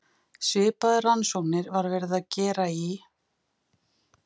Svipaðar rannsóknir var verið að gera í